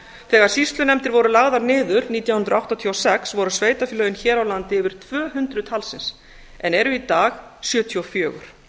þegar sýslunefndir voru lagðar niður nítján hundruð áttatíu og sex voru sveitarfélögin hér á landi yfir tvö hundruð talsins en eru í dag sjötíu og fjögur